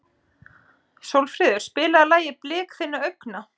Sólfríður, spilaðu lagið „Blik þinna augna“.